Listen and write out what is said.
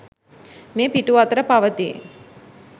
මේ පිටු අතර පවතී